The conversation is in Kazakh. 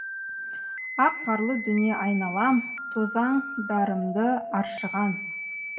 ақ қарлы дүние айналам тозаңдарымды аршыған